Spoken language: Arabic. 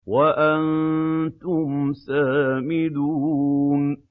وَأَنتُمْ سَامِدُونَ